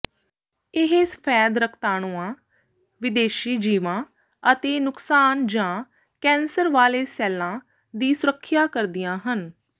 ਇਹ ਸਫੈਦ ਰਕਤਾਣੂਆਂ ਵਿਦੇਸ਼ੀ ਜੀਵਾਂ ਅਤੇ ਨੁਕਸਾਨ ਜਾਂ ਕੈਂਸਰ ਵਾਲੇ ਸੈੱਲਾਂ ਦੀ ਸੁਰੱਖਿਆ ਕਰਦੀਆਂ ਹਨ